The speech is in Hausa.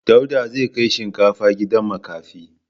Dauda zai kai shinkafa gidan makafi.